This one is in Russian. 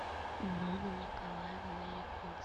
нонна николаевна